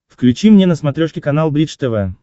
включи мне на смотрешке канал бридж тв